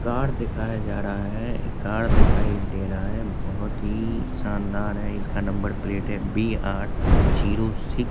car दिखाया जा रहा है कार दिखाई दे रहा है बहुत ही शानदार है इसका नंबर प्लेट है बी आर जीरो सिक्स --